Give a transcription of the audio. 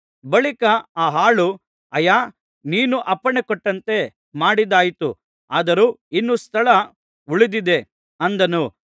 ಬಳಿಕ ಆ ಆಳು ಅಯ್ಯಾ ನೀನು ಅಪ್ಪಣೆಕೊಟ್ಟಂತೆ ಮಾಡಿದ್ದಾಯಿತು ಆದರೂ ಇನ್ನೂ ಸ್ಥಳ ಉಳಿದಿದೆ ಅಂದನು